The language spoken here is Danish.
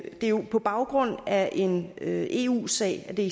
er jo på baggrund af en eu sag at det